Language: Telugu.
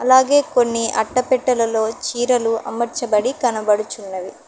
అలాగే కొన్ని అట్టపెట్టలలో చీరలు అమర్చబడి కనబడుచున్నది.